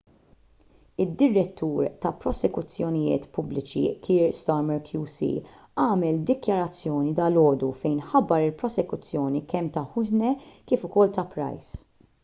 id-direttur tal-prosekuzzjonijiet pubbliċi kier starmer qc għamel dikjarazzjoni dalgħodu fejn ħabbar il-prosekuzzjoni kemm ta' huhne kif ukoll ta' pryce